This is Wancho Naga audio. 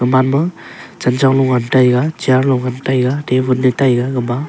manma clenchong nguntaiga chair lo ngun taiga table gama--